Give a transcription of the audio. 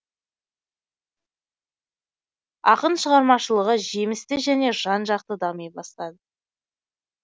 ақын шығармашылығы жемісті және жан жақты дами бастады